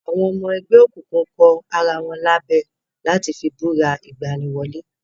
Àwọn ọmọ ẹlẹ́gbẹ́ òkùnkùn kọ ara wọn lábẹ láti fi búra ìgbani wọlé